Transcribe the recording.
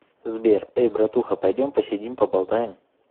сбер эй братуха пойдем посидим поболтаем